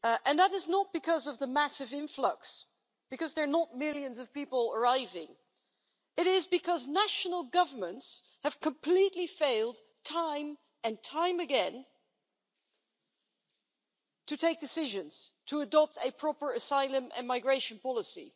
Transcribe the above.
That is not because of the massive influx, because there are not millions of people arriving, it is because national governments have completely failed time and time again to take decisions, to adopt a proper asylum and migration policy.